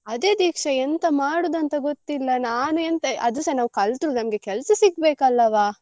ಅದೆ ದೀಕ್ಷಾ ಎಂತ ಮಾಡುದಂತ ಗೊತ್ತಿಲ್ಲ ನಾನ್ ಎಂತ ಅದುಸ ನಾವ್ ಕಲ್ತ್ರು ಒಂದು ಕೆಲ್ಸ ಸಿಗ್ಬೇಕಲ್ಲವ.